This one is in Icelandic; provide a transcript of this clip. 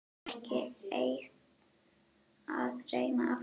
Ekki að reyna aftur.